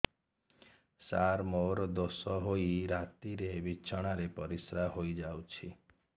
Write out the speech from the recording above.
ସାର ମୋର ଦୋଷ ହୋଇ ରାତିରେ ବିଛଣାରେ ପରିସ୍ରା ହୋଇ ଯାଉଛି